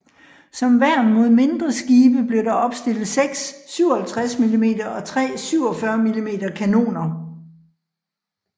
Som værn mod mindre skibe blev der opstillet seks 57 mm og tre 47 mm kanoner